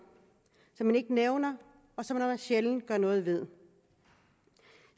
som man ikke nævner og som man sjældent gør noget ved